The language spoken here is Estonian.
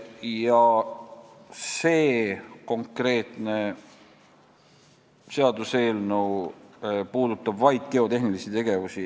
Ja see konkreetne seaduseelnõu puudutab vaid geotehnilisi tegevusi.